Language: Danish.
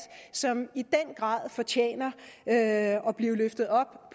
som i den grad fortjener at blive løftet op